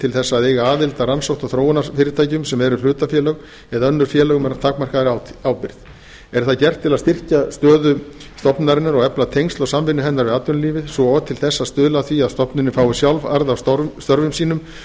til að eiga aðild að rannsókna og þróunarfyrirtækjum sem eru hlutafélög eða önnur félög með takmarkaðri ábyrgð er það gert til að styrkja stöðu stofnunarinnar og efla tengsl og samvinnu hennar við atvinnulífið svo og til þess að stuðla að því að stofnunin fái sjálf arð af störfum sínum